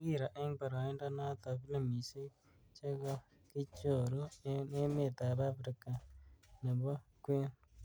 Kakiro eng baraindo notok filimishek chekokichoru eng emet ab afrika nembo kween.